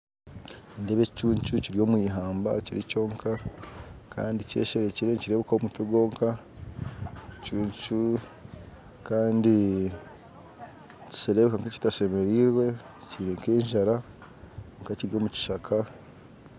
Nindeeba ekicuncu Kiri omwihamba Kiri kyonka Kandi kyesherekire nikirebuka omutwe gwonka Kandi nikirebuka nka ekitashemereirwe kyine nk'enjara kwonka Kiri omukishaka.